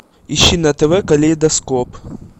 ищи на тв калейдоскоп